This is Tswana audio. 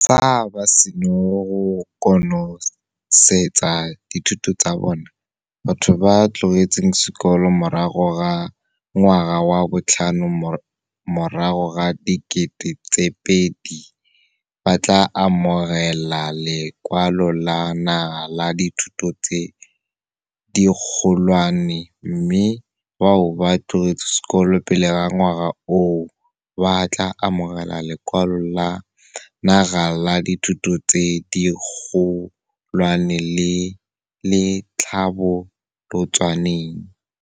Fa ba sena go konosetsa dithuto tsa bona, batho ba ba tlogetseng sekolo morago ga 2008 ba tla amogela Lekwalo la Naga la Dithuto tse Dikgolwane mme bao ba tlogetseng sekolo pele ga ngwaga oo, ba tla amogela Lekwalo la Naga la Dithuto tse Dikgolwane le le Tlhabolotsweng.